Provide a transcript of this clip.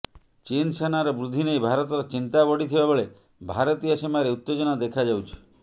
ଚୀନ ସେନାର ବୃଦ୍ଧି ନେଇ ଭାରତର ଚିନ୍ତା ବଢ଼ି ଥିବା ବେଳେ ଭାରତୀୟ ସୀମାରେ ଉତ୍ତେଜନା ଦେଖାଯାଉଛି